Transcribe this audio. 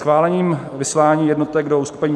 Schválením vyslání jednotek do uskupení